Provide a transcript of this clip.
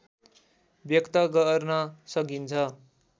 व्यक्त गर्न सकिन्छ